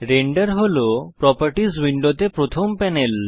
render হল properties উইন্ডোতে প্রথম প্যানেল